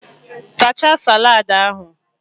Tachaa salad ahụ!.